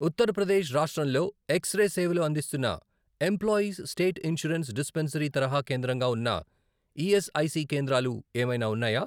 ఉత్తర ప్రదేశ్ రాష్ట్రంలో X ray సేవలు అందిస్తున్న ఎంప్లాయీస్ స్టేట్ ఇన్షూరెన్స్ డిస్పెన్సరీ తరహా కేంద్రంగా ఉన్న ఈఎస్ఐసి కేంద్రాలు ఏమైనా ఉన్నాయా?